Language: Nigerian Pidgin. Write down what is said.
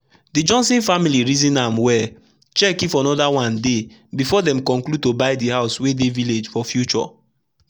the johnson family reason am wellcheck if another one deybefore den conclude to buy the house wey dey village for future.